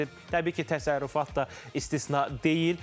Təbii ki, təsərrüfat da istisna deyil.